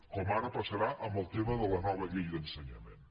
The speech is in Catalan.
com ara passarà amb el tema de la nova llei d’ensenyament